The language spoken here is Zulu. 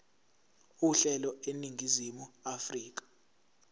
uhlelo eningizimu afrika